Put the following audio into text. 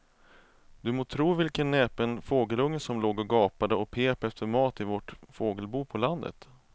Du må tro vilken näpen fågelunge som låg och gapade och pep efter mat i vårt fågelbo på landet.